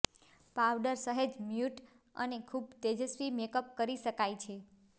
powder સહેજ mute અને ખૂબ તેજસ્વી મેકઅપ કરી શકાય છે